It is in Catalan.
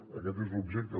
i aquest és l’objecte